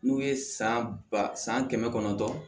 N'u ye san ba san kɛmɛ kɔnɔntɔn